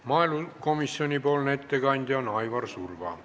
Maaelukomisjoni ettekandja on Aivar Surva.